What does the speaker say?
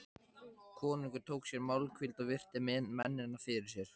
Konungur tók sér málhvíld og virti mennina fyrir sér.